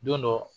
Don dɔ